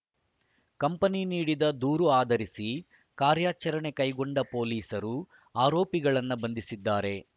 company ನೀಡಿದ ದೂರು ಆಧರಿಸಿ ಕಾರ್ಯಾಚರಣೆ ಕೈಗೊಂಡ ಪೊಲೀಸರು ಆರೋಪಿಗಳನ್ನು ಬಂಧಿಸಿದ್ದಾರೆ